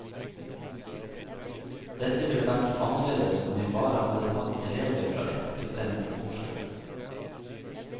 Dette ville vært annerledes om jeg bare hadde tatt elever fra ett bestemt årskull.